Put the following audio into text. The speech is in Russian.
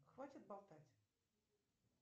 хватит болтать